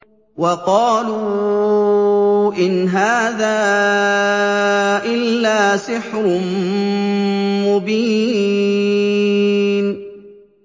وَقَالُوا إِنْ هَٰذَا إِلَّا سِحْرٌ مُّبِينٌ